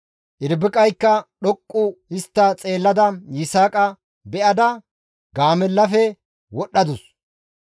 Irbiqaykka dhoqqu histta xeellada Yisaaqa beyada gaamellaa bollafe wodhdhadus.